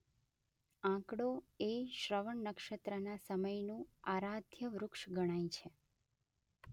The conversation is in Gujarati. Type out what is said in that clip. આંકડો એ શ્રવણ નક્ષત્રના સમયનું આરાધ્ય વૃક્ષ ગણાય છે.